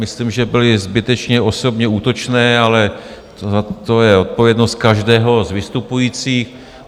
Myslím, že byla zbytečně osobně útočná, ale to je odpovědnost každého z vystupujících.